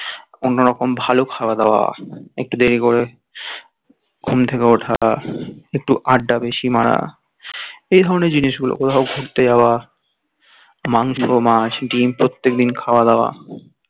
অন্য রকম ভালো খাওয়া দাওয়া একটু দেরি করে ঘুম থেকে ওঠা একটু আড্ডা বেশি মারা এই ধরণের জিনিস গুলো কোথাও ঘুরতে যাওয়া মাংস মাছ ডিম প্রত্যেকদিন খাওয়া দাওয়া